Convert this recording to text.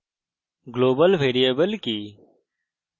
global variable কি